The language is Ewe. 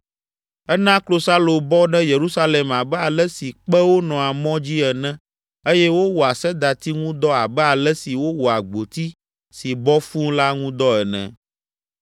Ena klosalo bɔ ɖe Yerusalem abe ale si kpewo nɔa mɔ dzi ene eye wowɔa sedati ŋu dɔ abe ale si wowɔa gboti si bɔ fũu la ŋu dɔ ene.